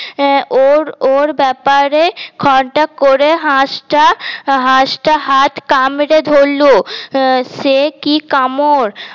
আহ ওর ওর ব্যাপারে খটাক করে হাস টা হাস টা হাত কামড়ে ধরলো সে কি কামড়